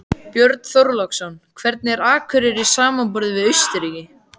Björn Þorláksson: Hvernig er Akureyri samanborið við Austurríki?